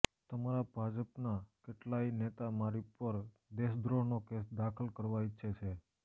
તમારા ભાજપના કેટલાય નેતા મારી પર દેશદ્રોહનો કેસ દાખલ કરવા ઈચ્છે છે